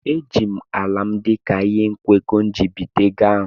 Eji m ala m dị ka ihe nkwekọ iji bité ego ahụ.